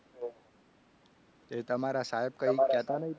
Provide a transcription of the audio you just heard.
એ તમારા સાહેબ કંઈ કહેતા નહીં તમને